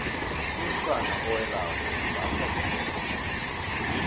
umsana owelako umbatha ibhetjha